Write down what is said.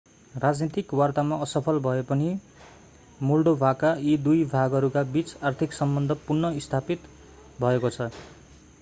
राजनीतिक वार्तामा असफल भए पनि मोल्डोभाका यी दुई भागहरूका बीच आर्थिक सम्बन्ध पुनः स्थापित भएको छ